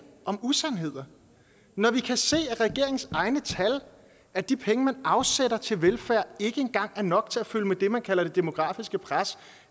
om usandheder vi kan se af regeringens egne tal at de penge man afsætter til velfærd ikke engang er nok til at følge med det man kalder det demografiske pres